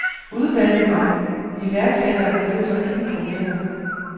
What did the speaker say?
Udvalget om iværksættere løser ingen problemer.